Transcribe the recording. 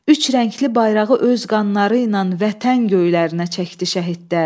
Üç rəngli bayrağı öz qanları ilə Vətən göylərinə çəkdi şəhidlər.